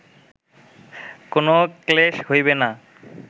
কোন ক্লেশ হইবে না